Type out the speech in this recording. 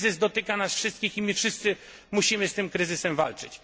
Kryzys dotyka nas wszystkich i my wszyscy musimy z tym kryzysem walczyć.